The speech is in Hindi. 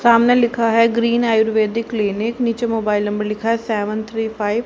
सामने लिखा है ग्रीन आयुर्वैदिक क्लिनिक नीचे मोबाइल नंबर लिखा है सेवेन थ्री फाईव --